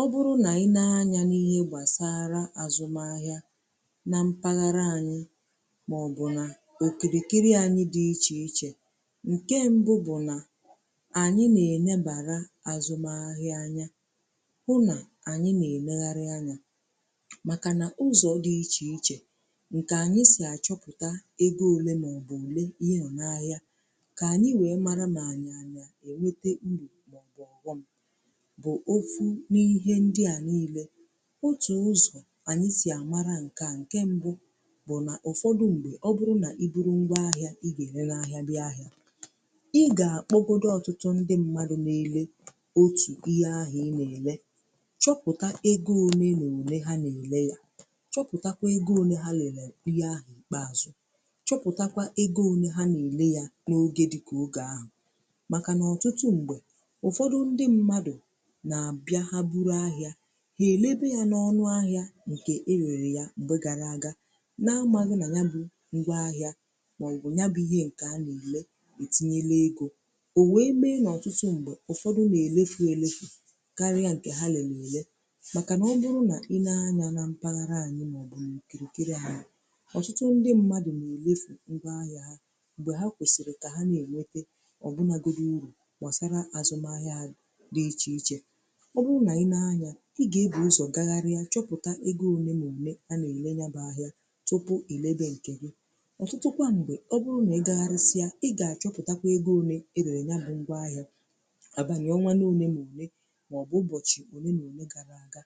O bụrụ nà i nee anyȧ n’ihe gbàsara àzụm ahịa na mpaghara anyị màọbụ nà òkìrìkiri anyi dị̇ ichè ichè, ǹke mbụ bụ̀ nà ànyị nà-ènebàra àzụmahịa anya hụ nà ànyị nà-elėgharị anya màkà nà ụzọ̀ dị̀ ichè ichè ǹkè ànyị sì àchọpụ̀ta ego òle màọbụ̀ òle ihe ọ̀ n’ahịa kà ànyị wee mara m ànyị anya ènwete mbụ̀, màọbụ̀ àghọ̀m n’ihe ndị à niile otù ụzọ̀ anyị sì àmara ǹke à ǹke mbụ bụ̀ nà ụ̀fọdụ. Mgbè ọ bụrụ nà i buru ngwa ahịa ị gà-enenè ahịa n’ihà ị gà-akpọ, òkpọbodȯ ọtụtụ ndị mmadụ̀ niile otù ihe ahụ̀ ị na-èle chọpụ̀tà ego ole na-èle un,e ha nà-èle yà chọpụ̀takwa ego ole ha lelee ihe ahụ̀ kpeazụ̀ chọpụ̀takwa ego ole ha na-èle yà n’oge dịkà oge ahụ̀ màkà nà ọtụtụ m̀gbè ụ̀fọdụ ndị mmadụ̀ na-abịa ha buru ahịà ha elebe ya na ọnụ ahịà nke irerè ya mgbe gara agà. Na-amaghà na ya bụ̀ ngwa ahịà maọ̀bụ̀ ya bụ̀ ihe nke ha na-ele itinyelè egȯ o wee bèe n’ọtụtụ ṁgbè ụfọdụ̀ na-elefù elefù karịa nke ha na-ele màkà na ọ bụrụ̀ na i nee anya na mpaghara anyị̀, maọ̀bụ̀ nkelekirì ha ọtụtụ ndị mmadụ̀ na-elefù ngwa ahịà ha ṁgbe ha kwesirì ka ha na-enwetà ọbụnagoro urù masara azụmà ahịà na iche ichè ọ bụrụ nà i nee anya i gà-èbu ụzọ̀ gaghari ya chọpụtà ego one one anà ele ya bụ ahịà tụpụ ile gị nkè gị ọtụtụkwà ǹgwè ọ bụrụ nà ị gaghari si ya, i gà-achọpụtakwa ego one e go ya ya bụ ngwa ahịà abànịọnà one one ma ọ bụ ụbọchị one nà one gara aga